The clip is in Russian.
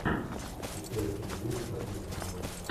летающие звери последний сезон